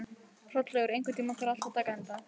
Hrollaugur, einhvern tímann þarf allt að taka enda.